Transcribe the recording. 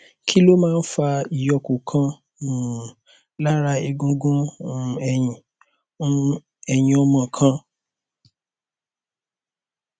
kí ló máa ń fa ìyókù kan um lára egungun um ẹyìn um ẹyìn ọmọ kan